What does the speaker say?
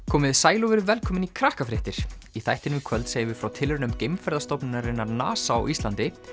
komiði sæl og verið velkomin í í þættinum í kvöld segjum við frá tilraunum geimferðastofnunarinnar NASA á Íslandi